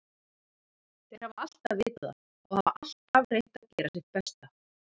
Þeir hafa alltaf vitað það og hafa alltaf reynt að gera sitt besta.